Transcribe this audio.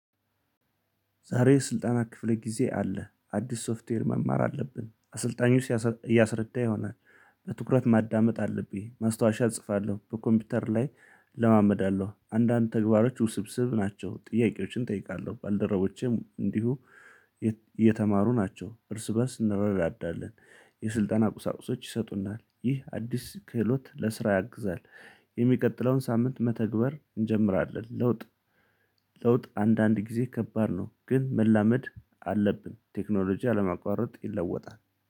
ዛሬ ስልጠና ክፍል ጊዜ አለ አዲስ ሶፍትዌር መማር አለብን አሰልጣኞች እያሰረዳ ይሆናል። በትኩረት ማዳመጥ አለብኝ ማስታወሻ እጽፋለሁ በኮምፒውተር ላይ እለማመዳለሁ አንዳንድ ተግባሮች ውስብስብ ናቸው። ጥያቄዎችን እጠይቃለሁ ባልደረቦቼም እንዲሁ እየተማሩ ናቸው እርስ በእርስ እንረዳዳልን። የስልጠና ቁሳቁሶች ይሰጡናል ይህ አዲስ ክህሎት ለስራ ያግዛል። የሚቀጥለውን ሳምንት መተግበር እንጀምራለን። ለውጥ ለውጥ አንዳንድ ጊዜ ከባድ ነው። ግን መላመድ አለብን ቴክኖሎጂ አለማቋረጥ ይለወጣል